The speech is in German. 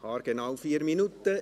Haargenau 4 Minuten.